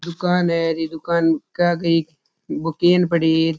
दुकान है री दुकान के आगे एक वो केन पड़ी है।